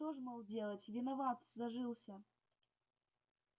что ж мол делать виноват зажился